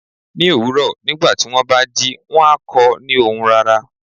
Ní òwúrọ̀ nígbàtí wón bá jí, wón á kọ ni ohùn rara